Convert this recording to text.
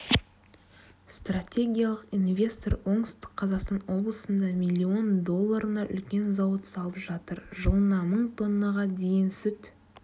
стратегиялық инвестор оңтүстік қазақстан облысында миллион долларына үлкен зауыт салып жатыр жылына мың тоннаға дейін сүт